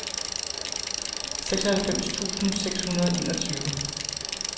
seksoghalvfems tusind seks hundrede og enogtyve